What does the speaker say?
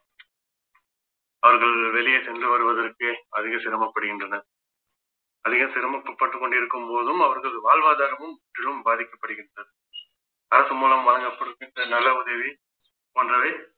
அவர்கள் வெளியே சென்று வருவதற்கு அதிக சிரமப்படுகின்றனர் அதிக சிரமப்பட்டு கொண்டிருக்கும் போதும் அவர்கள் வாழ்வாதாரமும் மிகவும் பாதிக்கப்படுகின்றது அரசு மூலம் வழங்கப்படுகின்ற நல்ல உதவி போன்றவை